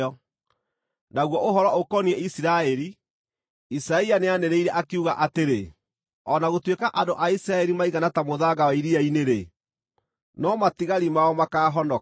Naguo ũhoro ũkoniĩ Isiraeli, Isaia nĩanĩrĩire, akiuga atĩrĩ: “O na gũtuĩka andũ a Isiraeli maigana ta mũthanga wa iria-inĩ-rĩ, no matigari mao makaahonoka.